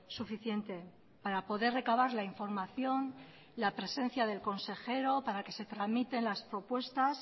suficiente para poder recabar la información la presencia del consejero para que se tramiten las propuestas